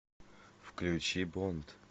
включи бонд